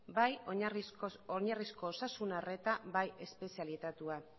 bai oinarrizko osasun arreta bai espezialitatea